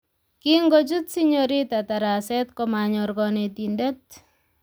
Kingochut Sinyorita taraset komanyor kanetindet